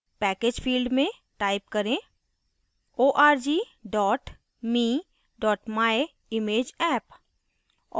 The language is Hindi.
package field में type करें org me myimageapp